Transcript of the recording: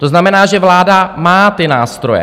To znamená, že vláda má ty nástroje.